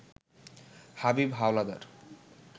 Habib Howlader